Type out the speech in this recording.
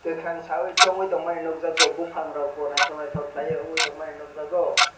kakorang saioe sangui tangmani nog jago bopang rog bo naitotok kelaioe nogjago.